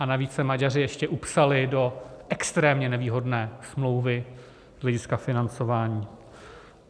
A navíc se Maďaři ještě upsali do extrémně nevýhodné smlouvy z hlediska financování.